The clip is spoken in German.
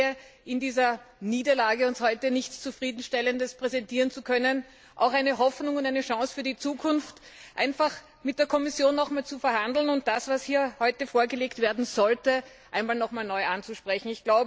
Aber ich sehe in dieser Niederlage, uns heute nichts Zufriedenstellendes präsentieren zu können, auch eine Hoffnung und eine Chance für die Zukunft, einfach noch einmal mit der Kommission zu verhandeln und das, was hier heute vorgelegt werden sollte, noch einmal neu anzusprechen.